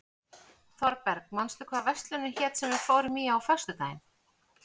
Þorberg, manstu hvað verslunin hét sem við fórum í á föstudaginn?